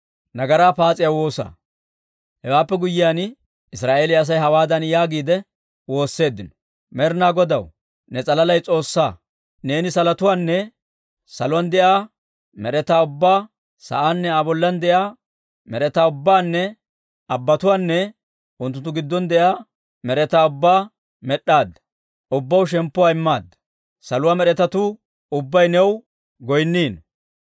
Hewaappe guyyiyaan, Israa'eeliyaa Asay hawaadan yaagiide woosseeddino; «Med'inaa Godaw, ne s'alalay S'oossaa! Neeni salotuwaanne salotuwaan de'iyaa med'etaa ubbaa, sa'aanne Aa bollan de'iyaa med'etaa ubbaanne Abbatuwaanne unttunttu giddon de'iyaa med'etaa ubbaa med'd'aadda; ubbaw shemppuwaa immaadda. Saluwaa med'etatuu ubbay new goynniino.